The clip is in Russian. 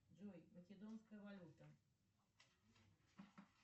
джой македонская валюта